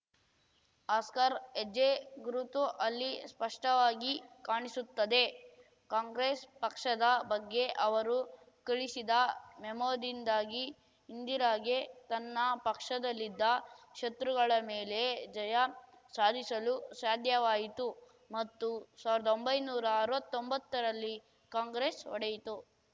husker ಹೆಜ್ಜೆ ಗುರುತು ಅಲ್ಲಿ ಸ್ಪಷ್ಟವಾಗಿ ಕಾಣಿಸುತ್ತದೆ ಕಾಂಗ್ರೆಸ್‌ ಪಕ್ಷದ ಬಗ್ಗೆ ಅವರು ಕಳಿಸಿದ ಮೆಮೋದಿಂದಾಗಿ ಇಂದಿರಾಗೆ ತನ್ನ ಪಕ್ಷದಲ್ಲಿದ್ದ ಶತ್ರುಗಳ ಮೇಲೆ ಜಯ ಸಾಧಿಸಲು ಸಾಧ್ಯವಾಯಿತು ಮತ್ತು ಸಾವ್ರ್ದ ಒಂಬೈನೂರಾ ಅರ್ವತೊಂಬತ್ತರಲ್ಲಿ ಕಾಂಗ್ರೆಸ್‌ ಒಡೆಯಿತು